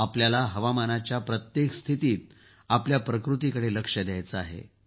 आपल्याला हवामानाच्या प्रत्येक स्थितीत आपल्या प्रकृतीकडे लक्ष द्यायचं आहे